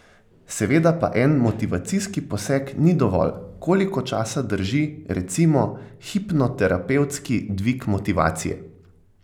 Seveda pa en motivacijski poseg ni dovolj, koliko časa drži, recimo hipnoterapevtski dvig motivacije?